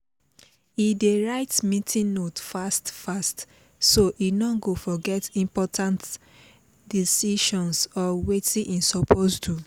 e dey write meeting note fast fast so e no go forget important decisions or watin e suppose do